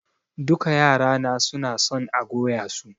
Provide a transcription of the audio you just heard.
Duka yara na suna son a goya su.